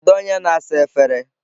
Kedu onye na-asa efere?